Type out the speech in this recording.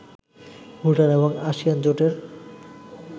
ভুটান এবং আসিয়ান জোটের